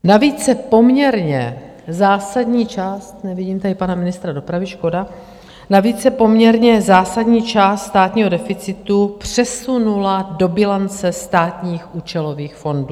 Navíc se poměrně zásadní část - nevidím tady pana ministra dopravy, škoda - navíc se poměrně zásadní část státního deficitu přesunula do bilance státních účelových fondů.